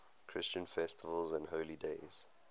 christian festivals and holy days